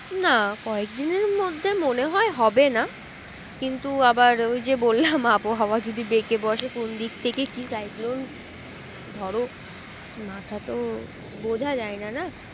না কয়েক দিনের মধ্যে মনে হয় হবে না কিন্তু আবার ওই যে বললাম আবহাওয়া যদি বেঁকে বসে কোন দিক থেকে কি সাইক্রন ধরো মাথা তো বোঝা যায়না না